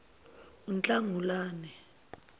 unhlangulane